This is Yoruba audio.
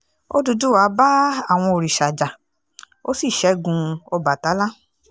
òdúdúwá bá àwọn òrìṣà jà ó sì ṣẹ́gun ọbatala